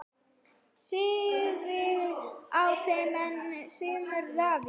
Styðjið þið ennþá Sigmund Davíð?